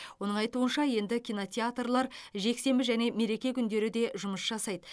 оның айтуынша енді кинотеатрлар жексенбі және мереке күндері де жұмыс жасайды